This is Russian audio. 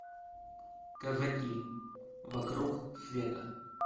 казаки вокруг света